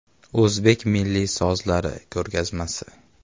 “O‘zbek milliy sozlari” ko‘rgazmasi.